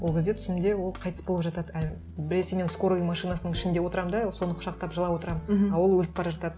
ол кезде түсімде ол қайтыс болып жатады а біресе мен скорый машинасының ішінде отырамын да соны құшақтап жылап отырамын мхм а ол өліп бара жатады